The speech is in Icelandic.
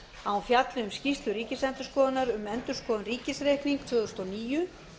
að hún fjalli um skýrslu ríkisendurskoðunar um endurskoðun ríkisreiknings tvö þúsund og níu